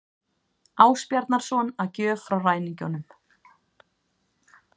Ásbjarnarson að gjöf frá ræningjunum.